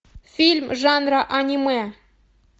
фильм жанра аниме